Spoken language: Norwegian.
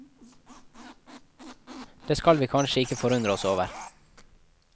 Det skal vi kanskje ikke forundre oss over.